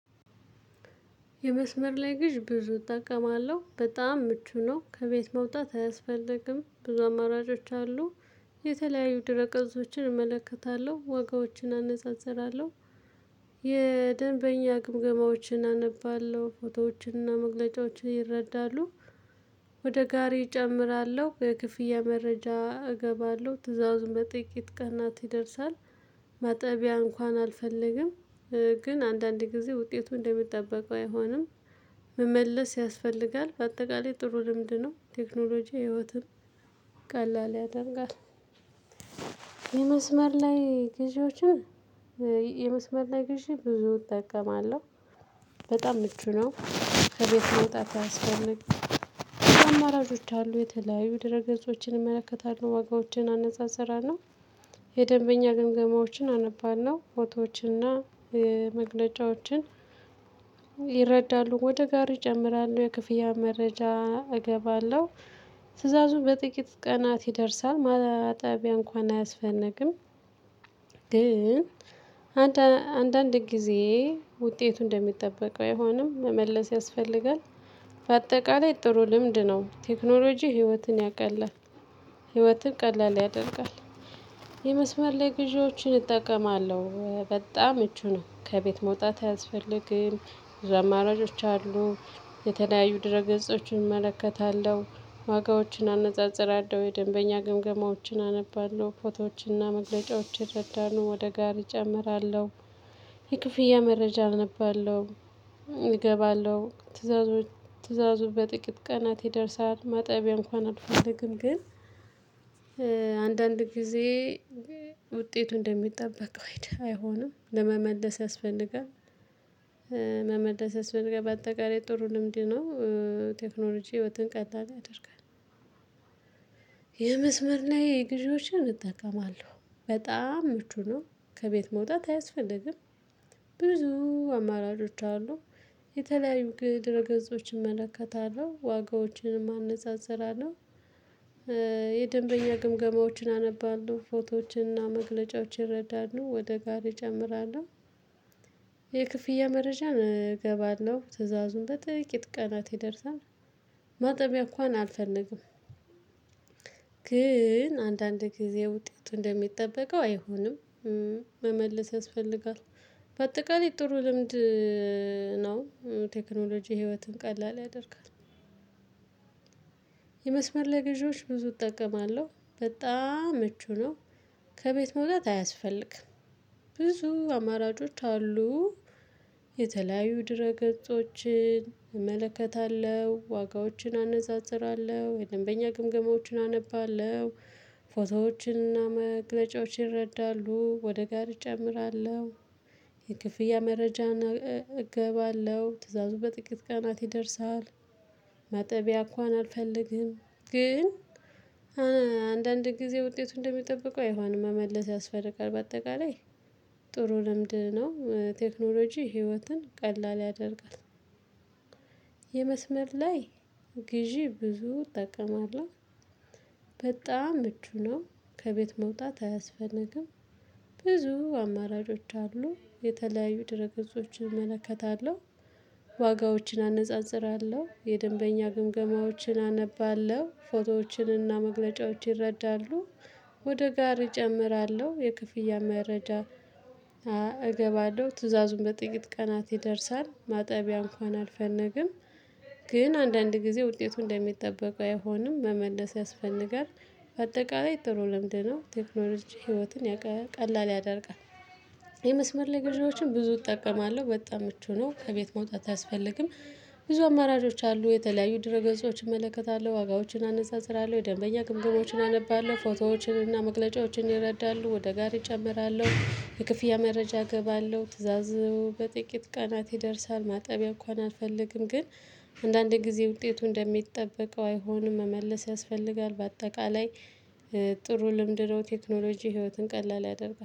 የመስመር ላይ ግዥ ብዙ እጠቀማለሁ። በጣም ምቹ ነው። ከቤት መውጣት አያስፈልግም። ብዙ አማራጮች አሉ። የተለያዩ ድረ ቀፆችን እመለከታለሁ። ዋጋዎችን አነጻጽራለሁ። የደንበኛ ግምገማዎችን አነባለሁ። ፎቶዎችንና መግለጫዎችን ይረዳሉ። ወደ ጋሬ እጨምራለሁ። የክፍያ መረጃ እገባለሁ። ትዕዛዙን በጥቂት ቀናት ይደርሳል። ማጠቢያ እንኳን አልፈልግም። ግን አንዳንድ ጊዜ ውጤቱ እንደሚጠበቀው አይሆንም። መመለስ ያስፈልጋል። በአጠቃላይ ጥሩ ልምድ ነው። ቴክኖሎጂ ህይወትም ቀላል ያደርጋል። የመስመር ላይ ግዢዎችን የመስመር ላይ ግዥ ብዙ እጠቀማለሁ። በጣም ምቹ ነው። ከቤት መውጣት አያስፈልግም። ብዙ አማራጮች አሉ። የተለያዩ ድረ ገጾችን እመለከታለሁ። ዋጋዎችን አነጻፅራለሁ። የደንበኛ ግምገማዎችን አነባለሁ። ፎቶዎችንና መግለጫዎችን- ይረዳሉ። ወደ ጋሬ ይጨምራሉ። የክፍያ መረጃ እገባለሁ። ትእዛዙ በጥቂት ቀናት ይደርሳል። ማጠቢያ እንኳን አያስፈልግም። ግን አንዳንድ ጊዜ ውጤቱ እንደሚጠበቀው አይሆንም። መመለስ ያስፈልጋል። በአጠቃላይ ጥሩ ልምድ ነው። ቴክኖሎጂ ህይወትን ያቀላል። ህይወትን ቀላል ያደርጋል። የመስመር ግዢዎችን እጠቀማለሁ። በጣም ምቺ ነው። ከቤት መውጣት አያስፈልግም። ብዙ አማራጮች አሉ። የተለያዩ ድረ ገጾችን እመለከታለሁ። ዋጋዎችን አነጻጽራለሁ። የደንበኛ ግምገማዎችን አነባለሁ። ፎቶዎችና መግለጫዎችን እረዳለሁ። ወደ ጋሪ እጨምራለሁ። የክፍያ መረጃ አነባለሁ። እገባለሁ። ትእዛዙ ትእዛዙ በጥቂት ቀናት ይደርሳል። ማጠቢያ እንኳን አልፈልግም። ግን- አንዳንድ ጊዜ ውጤቱ እንደሚጠበቀው አይሆንም። ለመመለስ ያስፈልጋል። መመለስ ያስፈልጋል በአጠቃላይ ጥሩ ልምድ ነው። ቴክኖሎጂ ህይወትን ቀላል ያደርጋል። የግዢዎችን እጠቀማለሁ። በጣም ምቹ ነው። ከቤት መውጣት አያስፈልግም። ብዙ አማራጮች አሉ። የተለያዩ ድረ ገጾችን እመለከታለሁ። ዋጋዎችንም አነፃፅራለሁ። የደንበኛ ግምገማዎችን አነባለሁ። ፎቶዎችንና መግለጫዎችን ይረዳሉ። ወደ ጋሪ እጨምራለሁ። የክፍያ መረጃ እገባለሁ። ትእዛዙም በጥቂት ቀናት ይደርሳል። ማጠቢያ እንኳን አልፈልግም። ግን አንዳንድ ጊዜ ውጤቱ እንደሚጠበቀው አይሆንም። መመለስ ያስፈልጋል። በአጠቃላይ ጥሩ ልምድ ነው ቴክኖሎጂ ህይወትን ቀላል ያደርጋል። የመስመር ላይ ግዢዎች ብዙ እጠቀማለሁ። በጣም ምቹ ነው። ከቤት መውጣት አያስፈልግም። ብዙ አማራጮች አሉ። የተለያዩ ድረ ገጾችን እመለከታለሁ። ዋጋዎችን አነጻጽራለሁ። የደንበኛ ግምገማዎችን አነባለሁ። ፎቶዎችንና መግለጫዎችን ይረዳሉ። ወደ ጋሪ እጨምራለሁ። የክፍያ መረጃን እገባለሁ። ትእዛዙ በጥቂት ቀናት ይደርሳል። ማጠቢያ እንኳን አልፈልግም። ግን- አንዳንድ ጊዜ ውጤቱ እንደሚጠብቀው አይሆንም። መመለስ ያስፈልጋል። በአጠቃላይ ጥሩ ልምድ ነው። ቴክኖሎጂ ህይወትን ቀላል ያደርጋል። የመስመር ላይ ግዢ ብዙ እጠቀማለሁ። በጣም ምቹ ና ከቤት መውጣት አያስፈልግም። ብዙ አማራጮች አሉ። የተለያዩ ድረ ገጾችን እመለከታለሁ። ዋጋዎችን አነጻጽራለሁ። የደንበኛ ግምገማዎችን አነባለሁ። ፎቶዎችንና መግለጫዎችን ይረዳሉ። ወደ ጋሪ እጨምራለሁ። የክፍያ መረጃ- እገባለሁ። ትዕዛዙም በጥቂት ቀናት ይደርሳል። ማጠቢያ እንኳን አልፈልግም። ግን አንዳንድ ጊዜ ውጤቱ እንደሚጠበቁ አይሆንም። መመለስ ያስፈልጋል። በአጠቃላይ ጥሩ ልምድ ነው። ቴክኖሎጂ ህይወትን ቀላል ያደርጋል። የመስመር ላይ ግዢዎችን ብዙ እጠቀማለሁ። በጣም ምቹ ነው። ከቤት መውጣት አያስፈልግም። ብዙ አማራጮች አሉ። የተለያዩ ድረ ገዢዎች እመለከታለሁ። ዋጋዎችን አነፃፅራለሁ። የደንበኛ ግምገማዎችን አነባለሁ። ፎቶዎችን እና መግለጫዎችን ይረዳሉ። ወደ ጋሪ እጨምራለሁ። የክፍያ መረጃ እገባለሁ። ትእዛዙ በጥቂት ቀናት ይደርሳል። ማጠቢያ እንኳን አልፈልግም። ግን- አንዳንዴ ጊዜ ውጤቱ እንደሚጠበቀው አይሆንም። መመለስ ያስፈልጋል። በአጠቃላይ- ጥሩ ልምድ ነው። ቴክኖሎጂ ህይወትን ቀላል ያደርጋል።